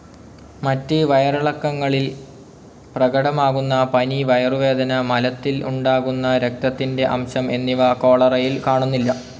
മറ്റ് വയറിളക്കങ്ങളിൽ പ്രകടമാകുന്ന പനി, വയറുവേദന, മലത്തിൽ ഉണ്ടാകുന്ന രക്തത്തിന്റെ അംശം എന്നിവ കോളറയിൽ കാണുന്നില്ല.